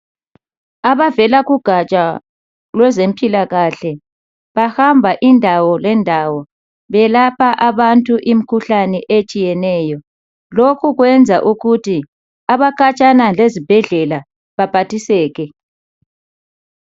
Abavela kugatsha lwezempilakahle bahamba indawo lendawo belapha abantu imikhuhlane etshiyeneyo lokhu kwenza ukuthi abakhatshana lezibhedlela baphathiseke.